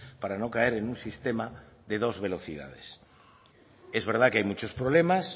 para no caer en un sistema de dos velocidades es verdad que hay muchos problemas